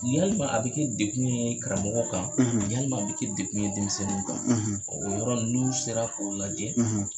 Yalima a bi kɛ dekun ye karamɔgɔ kan , yalima a bi kɛ dekun ye denmisɛnninw kan . O yɔrɔ in n'u sera k'o lajɛ